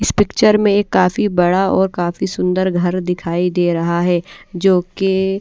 इस पिक्चर में काफी बड़ा और काफी सुंदर घर दिखाई दे रहा है जो की--